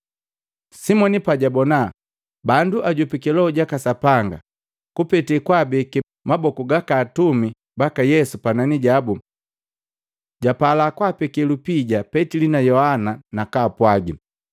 Simoni pajabona bandu ajopiki Loho jaka Sapanga kupete kwaabeke maboku gaka atumi baka Yesu panani jabu, japala kwapeke lupija Petili na Yohana nakaapwagi,